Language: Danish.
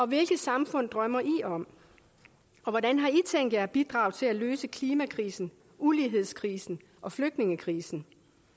hvilket samfund drømmer i om og hvordan har i tænkt jer at bidrage til at løse klimakrisen ulighedskrisen og flygtningekrisen